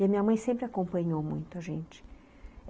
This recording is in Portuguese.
E a minha mãe sempre acompanhou muito a gente.